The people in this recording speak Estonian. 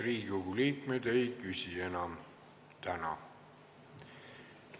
Riigikogu liikmed ei küsi enam täna.